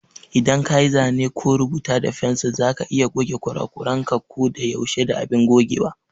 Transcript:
Idan kayi zane ko rubuta da fensir za ka iya goge kurakuranka ko da yaushe da abin gogewa.